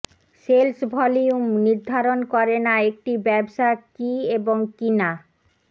sales volume নির্ধারণ করে না একটি ব্যবসা কি এবং কি না